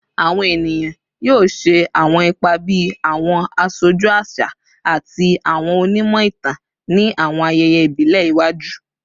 Awọn eniyan yoo ṣe awọn ipa bi awọn aṣoju aṣa ati awọn onimọ-itan ni awọn ayẹyẹ ibile iwaju